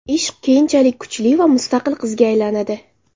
Ishq keyinchalik kuchli va mustaqil qizga aylanadi.